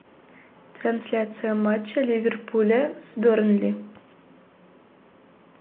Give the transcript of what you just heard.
трансляция матча ливерпуля с бернли